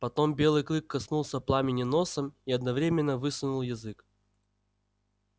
потом белый клык коснулся пламени носом и одновременно высунул язык